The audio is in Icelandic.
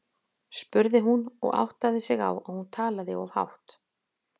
spurði hún og áttaði sig á að hún talaði of hátt.